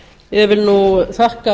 vil nú þakka